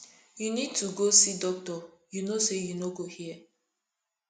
you need to go see doctor you no say you no go hear